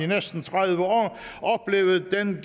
næsten tredive år oplevet den